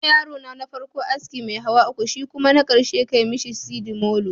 Yima yarona na farko aski mai hawa uku, shikuma na karshe ka mishi sidimolo